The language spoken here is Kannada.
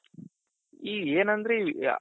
ಈಗ ಏನಂದ್ರೆ ಈ